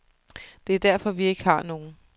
Det er derfor, vi ikke har nogen.